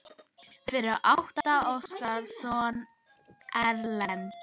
Fyrir átti Óskar soninn Erlend.